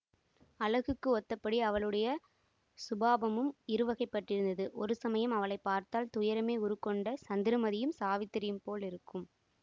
அழகுக்கு ஒத்தபடி அவளுடைய சுபாவமும் இரு வகைப்பட்டிருந்தது ஒரு சமயம் அவளை பார்த்தால் துயரமே உருக்கொண்ட சந்திரமதியையும் சாவித்திரியையும் போல் இருக்கும்